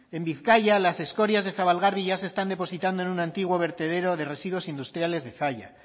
en bizkaia las escorias de zabalgarbi ya se están depositando en un antiguo vertedero de residuos industriales de zalla